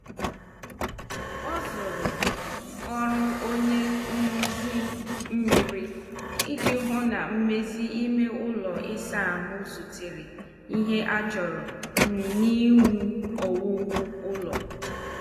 Ọ zuru ọrụ onye nruzi mmiri iji hụ na mmezi ime ụlọ ịsa ahụ zutere ihe achọrọ n' iwu owuwu ụlọ.